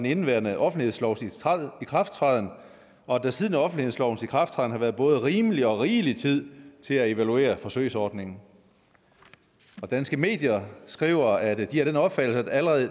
indeværende offentlighedslovs ikrafttræden og at der siden offentlighedslovens ikrafttræden har været både rimelig og rigelig tid til at evaluere forsøgsordningen danske medier skriver at de er af den opfattelse at der allerede